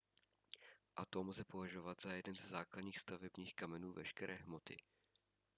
atom lze považovat za jeden ze základních stavebních kamenů veškeré hmoty